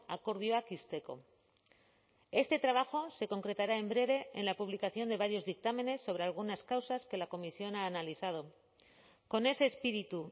akordioak ixteko este trabajo se concretará en breve en la publicación de varios dictámenes sobre algunas causas que la comisión ha analizado con ese espíritu